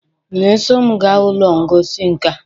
ị na-eso m gaa ụlọ ngosi nka?